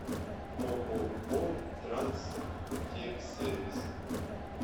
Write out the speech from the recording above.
ооо транстехсервис